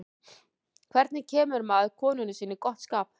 hvernig kemur maður konunni sinni í gott skap